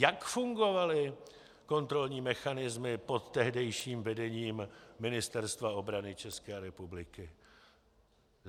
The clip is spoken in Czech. Jak fungovaly kontrolní mechanismy pod tehdejším vedením Ministerstva obrany České republiky?